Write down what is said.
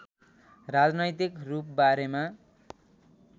राजनैतिक रूप बारेमा